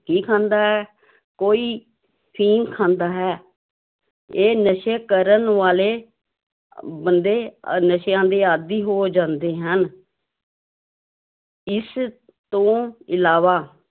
ਕੀ ਖਾਂਦਾ ਹੈ, ਕੋਈ ਅਫ਼ੀਮ ਖਾਂਦਾ ਹੈ, ਇਹ ਨਸ਼ੇ ਕਰਨ ਵਾਲੇ ਬੰਦੇ ਨਸ਼ਿਆਂ ਦੇ ਆਦੀ ਹੋ ਜਾਂਦੇ ਹਨ ਇਸ ਤੋਂ ਇਲਾਵਾ